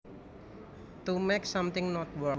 To make something not work